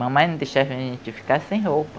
Mamãe não deixava a gente ficar sem roupa.